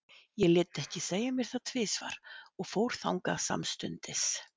Ég lét ekki segja mér það tvisvar og fór þangað samstundis.